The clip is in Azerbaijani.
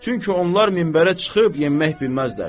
Çünki onlar minbərə çıxıb yenmək bilməzlər.